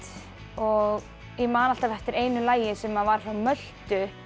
og ég man alltaf eftir einu lagi sem var frá Möltu